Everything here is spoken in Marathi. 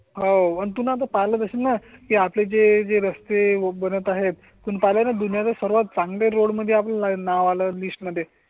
होऊन आता पालक असेल ना ते आपल जे जे रस्ते बनत आहे तून पळालेल्या सर्वात चांगले रोड मध्ये आपल्या ला लिस्ट मध्ये.